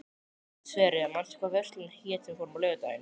Sverre, manstu hvað verslunin hét sem við fórum í á laugardaginn?